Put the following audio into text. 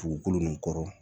Dugukolo nin kɔrɔ